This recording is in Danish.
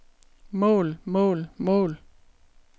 mål mål mål